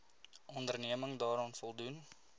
onderneming daaraan voldoen